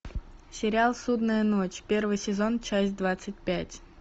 сериал судная ночь первый сезон часть двадцать пять